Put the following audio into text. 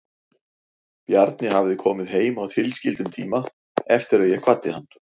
Bjarni hafði komið heim á tilskildum tíma eftir að ég kvaddi hann.